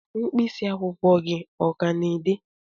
mkpịsị akwụkwọ gị ọ ka na-ede?